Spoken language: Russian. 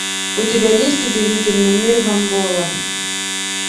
у тебя есть удивительный мир гамбола